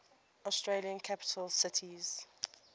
australian capital cities